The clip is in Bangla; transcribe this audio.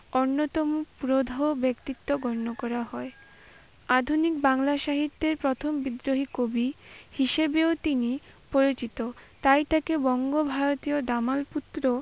অন্যতম প্রধ ব্যক্তিত্ব গণ্য করা হয়। আধুনিক বাংলা সাহিত্যের প্রথম বিদ্রোহী কবি হিসেবেও তিনি পরিচিত। তাই তাকে বঙ্গ-ভারতীয় দামাল পুত্র